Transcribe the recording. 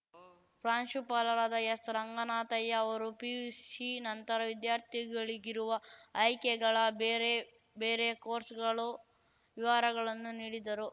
ಪ್ರಾಂಶುಪಾಲರಾದ ಎಸ್‌ ರಂಗನಾಥಯ್ಯ ಅವರು ಪಿಯುಸಿ ನಂತರ ವಿದ್ಯಾರ್ಥಿಗಳಿಗಿರುವ ಆಯ್ಕೆಗಳ ಬೇರೆ ಬೇರೆ ಕೋರ್ಸ್‌ಗಳು ವಿವರಗಳನ್ನು ನೀಡಿದರು